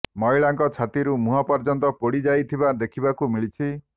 ମହିଳାଙ୍କ ଛାତିରୁ ମୁହଁ ପର୍ଯ୍ୟନ୍ତ ପୋଡ଼ି ଯାଇଥିବା ଦେଖିବାକୁ ମିଳିଛି